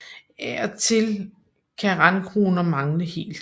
Af og til kan randkroner mangle helt